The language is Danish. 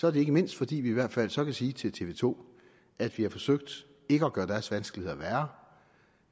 er det ikke mindst fordi vi i hvert fald så kan sige til tv to at vi har forsøgt ikke at gøre deres vanskeligheder værre